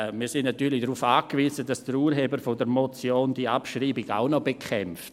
Und wir sind natürlich darauf angewiesen, dass der Urheber der Motion die Abschreibung nachher auch noch bekämpft;